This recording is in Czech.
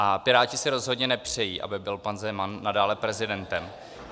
A Piráti si rozhodně nepřejí, aby byl pan Zeman nadále prezidentem.